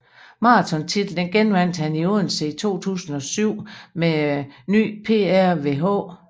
Maratontitlen genvandt han i Odense i 2007 med ny PR ved H